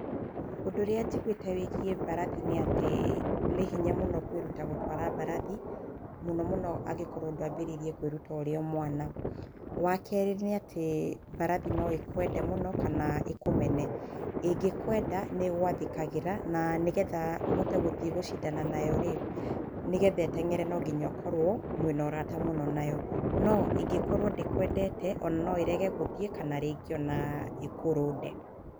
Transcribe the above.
Ũndũ ũrĩa njiguĩte wĩgiĩ mbarathi nĩ atĩ, nĩhinya mũno kwĩruta gũtwara mbarathi, mũno mũno angĩkorwo ndwambĩrĩirie kwĩruta ũrĩ o mwana. Wakerĩ nĩ atĩ mbarathi no ĩkwende mũno, kana ĩkũmene. ĩngĩkwenda nĩ ĩgwathĩkagĩra, na nĩgetha ũthiĩ gũcindana nayo rĩ, nĩgetha ĩteng'ere nonginya ũkorwo mwĩna ũrata mũno nayo. No ĩngĩkorwo ndĩkwendete ona no ĩrege gũthiĩ ona kana ĩkũrũnde.